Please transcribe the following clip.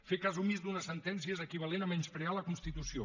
fer cas omís d’una sentència és equivalent a menysprear la constitució